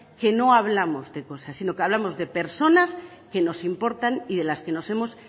que no hablamos de cosas sino que hablamos de personas que nos importan y de las que nos hemos